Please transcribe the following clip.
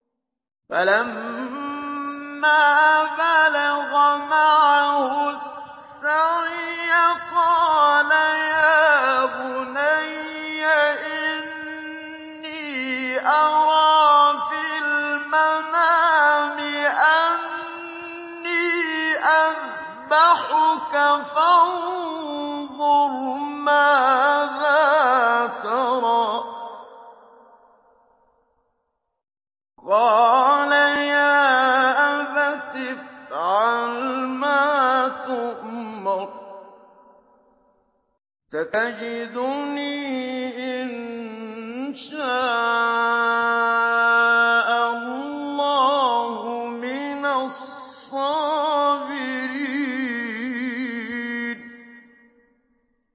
فَلَمَّا بَلَغَ مَعَهُ السَّعْيَ قَالَ يَا بُنَيَّ إِنِّي أَرَىٰ فِي الْمَنَامِ أَنِّي أَذْبَحُكَ فَانظُرْ مَاذَا تَرَىٰ ۚ قَالَ يَا أَبَتِ افْعَلْ مَا تُؤْمَرُ ۖ سَتَجِدُنِي إِن شَاءَ اللَّهُ مِنَ الصَّابِرِينَ